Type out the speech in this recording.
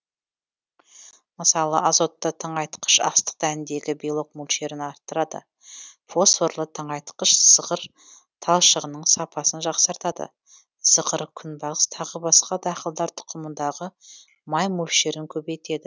мысалы азотты тыңайтқыш астық дәніндегі белок мөлшерін арттырады фосфорлы тыңайтқыш зығыр талшығының сапасын жақсартады зығыр күнбағыс тағы басқа дақылдар тұқымындағы май мөлшерін көбейтеді